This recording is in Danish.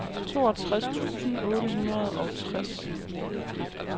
toogtres tusind otte hundrede og tres